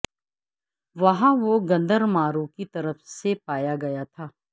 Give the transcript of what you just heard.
وہاں وہ گندرماروں کی طرف سے پایا گیا تھا